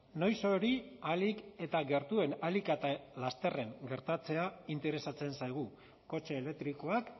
noiz hori ahalik eta gertuen ahalik eta lasterren gertatzea interesatzen zaigu kotxe elektrikoak